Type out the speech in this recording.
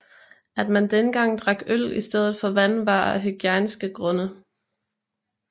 At man dengang drak øl i stedet for vand var af hygiejniske grunde